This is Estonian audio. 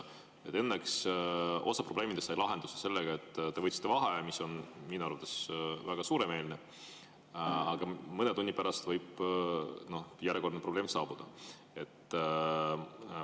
Õnneks osa probleemidest sai lahenduse sellega, et te võtsite vaheaja, mis on minu arvates väga suuremeelne, aga mõne tunni pärast võib järjekordne probleem saabuda.